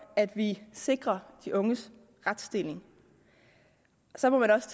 at vi sikrer de unges retsstilling så må man også